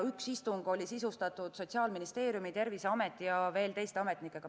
Üks istung oli sisustatud Sotsiaalministeeriumi, Terviseameti ja veel teiste ametnikega.